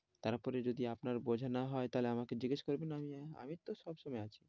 তারপরে যদি আপনার বোঝা না হয়, তাহলে আমাকে জিগ্যেস করবেন আমি তো সব সময় আছি,